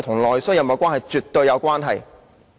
兩者是絕對有關係的。